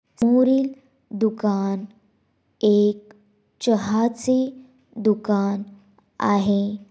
समोरील दुकान एक चहाचे दुकान आहे.